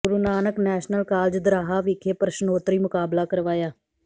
ਗੁਰੂ Nanak National College Doraha ਵਿਖੇ ਪ੍ਰਸ਼ਨੋਤਰੀ ਮੁਕਾਬਲਾ ਕਰਵਾਇਆ